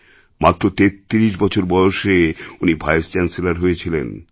মাত্র ৩৩ বছর বয়সে উনি ভাইসচ্যান্সেলর হয়েছিলেন